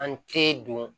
An te don